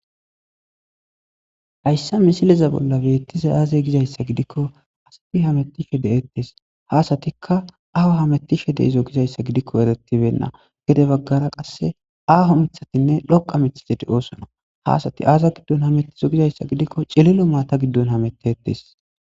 hayssa misileza bolla biittise aaze gizayssa gidikko asafi hamettishe deettes haasatikka aho hamettishe deizo gizayssa gidikko eretibenna gede baggara qasse aaho mithatinne lhoqa mithadeti oosona haasati aaza giddon hamettizo gizayssa gidikko cililo maata giddon hamettetes